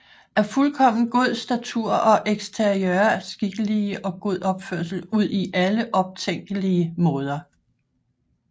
Af fuldkommen god Statur og Exterieur Skikkelig og god Opførsel udi alle optænkelige Maader